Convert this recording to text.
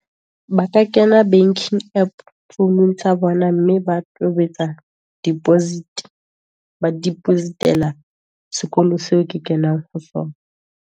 Ba ka kena banking app founung tsa bona, mme ba tobetsa deposit, ba deposit-ela sekolo seo ke kenang ho sona.